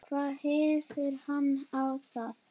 hvað hefur hann á þá?